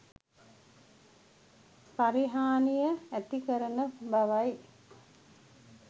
පරිහානිය ඇතිකරන බවයි.